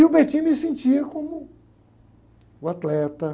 E o me sentia como o atleta.